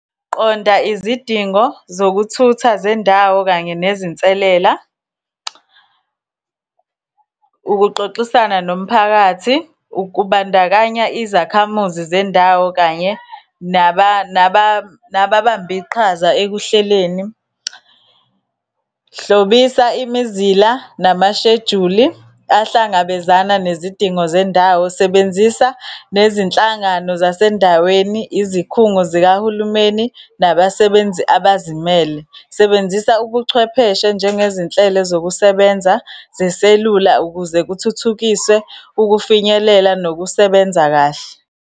Qonda izidingo zokuthutha zendawo, kanye nezinselela, ukuxoxisana nomphakathi, ukubandakanya izakhamuzi zendawo, kanye nababambe iqhaza ekuhleleni. Hlobisa imizila, namashejuli ahlangabezana nezidingo zendawo, sebenzisa nezinhlangano zasendaweni, izikhungo zikahulumeni, nabasebenzi abazimele. Sebenzisa ubuchwepheshe, njengezinhlelo zokusebenza zeselula ukuze kuthuthukiswe ukufinyelela nokusebenza kahle.